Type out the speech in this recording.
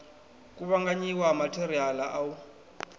kuvhanganyiwa ha matheriala a u